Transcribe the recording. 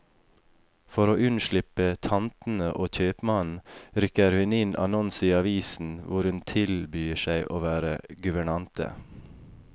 For å unnslippe tantene og kjøpmannen, rykker hun inn annonser i avisen hvor hun tilbyr seg å være guvernante.